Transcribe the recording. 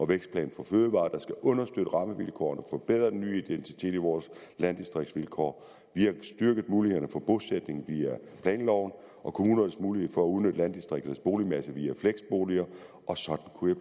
vækstplan for fødevarer der skal understøtte rammevilkårene og forbedre den nye identitet i vores landdistriktsvilkår og vi har styrket mulighederne for bosætning via planloven og kommunernes mulighed for at udnytte landdistrikternes boligmasse via fleksboliger og sådan kunne